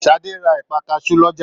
Sadé ra ẹ̀pà kasu lọ́jà.